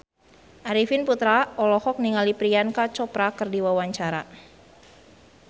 Arifin Putra olohok ningali Priyanka Chopra keur diwawancara